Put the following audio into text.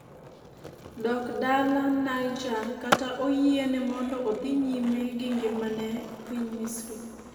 dok dala Niger kata oyiene mondo dhi nyime gi ngimane e piny misri